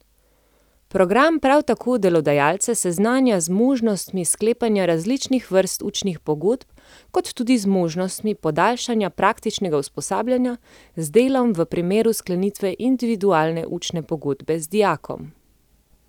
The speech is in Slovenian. Program prav tako delodajalce seznanja z možnostmi sklepanja različnih vrst učnih pogodb kot tudi možnostmi podaljšanja praktičnega usposabljanja z delom v primeru sklenitve individualne učne pogodbe z dijakom.